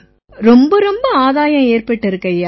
ரொம்ப ரொம்ப ஆதாயம் ஏற்பட்டிருக்குய்யா